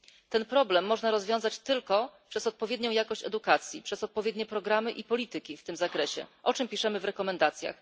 Ten problem można rozwiązać tylko przez odpowiednią jakość edukacji, przez odpowiednie programy i polityki w tym zakresie, o czym piszemy w rekomendacjach.